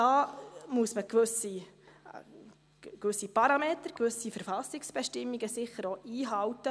Da muss man gewisse Parameter, gewisse Verfassungsbestimmungen sicher auch einhalten.